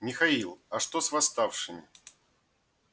михаил а что с восставшими